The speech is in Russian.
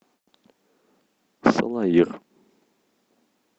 салаир